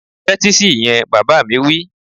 Tẹ́tí sí ìyẹn! Bàbá mi wí